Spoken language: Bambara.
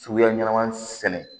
Suguya ɲɛnama sɛnɛ